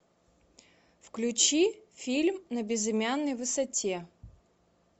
включи фильм на безымянной высоте